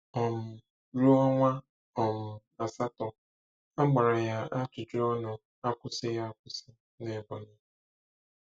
um Ruo ọnwa um asatọ, a gbara ya ajụjụ ọnụ akwusịghị akwụsị n'Ebonyi.